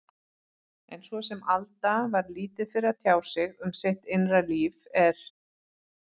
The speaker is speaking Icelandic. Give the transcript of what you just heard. En svo sem Alda var lítið fyrir að tjá sig um sitt innra líf, er